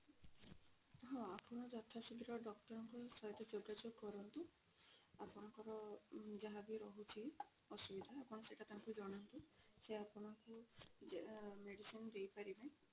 ହଁ ଆପଣ ଯଥା ଶୀଘ୍ର doctor ଙ୍କ ସହିତ ଯୋଗା ଯୋଗ କରନ୍ତୁ ଆପଣଙ୍କର ଯାହା ବି ରହୁଛି ଅସୁବିଧା ଆପଣ ସେଇଟା ତାଙ୍କୁ ଜଣାନ୍ତୁ ସେ ଆପଣଙ୍କୁ medicine ଦେଇ ପାରିବେ